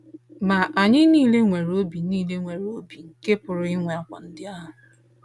Ma, anyị nile nwere obi nile nwere obi nke pụrụ inwe àgwà ndị ahụ.